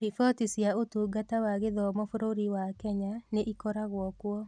Riboti cia Ũtungata wa Gĩthomo bũrũri wa Kenya, nĩ ĩkoragwo kuo.